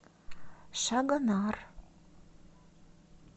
шагонар